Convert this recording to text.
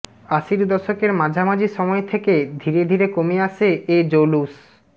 আশির দশকের মাঝামাঝি সময় থেকে ধীরে ধীরে কমে আসে এ জৌলুশ